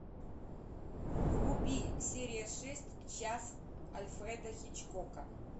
вруби серия шесть час альфреда хичкока